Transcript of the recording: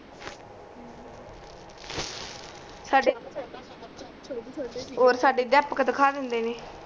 ਸਾਡੇ ਔਰ ਸਾਡੇ ਦਿਖਾ ਦੇਂਦੇ ਨੇ